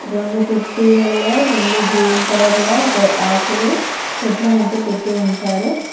రెండు తొట్టి లల్లో రెండు గ్రీన్ కలర్లో ఒక ఆకులు చెట్లనైతే పెట్టీ ఉంచారు.